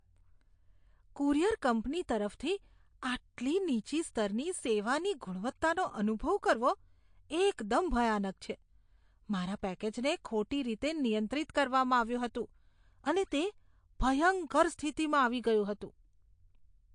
Courier company તરફથી આટલી નીચી સ્તરની સેવાની ગુણવત્તાનો અનુભવ કરવો એકદમ ભયાનક છે. મારા પેકેજને ખોટી રીતે નિયંત્રિત કરવામાં આવ્યું હતું અને તે ભયંકર સ્થિતિમાં આવી ગયું હતું.